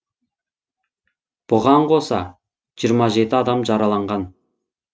бұған қоса жиырма жеті адам жараланған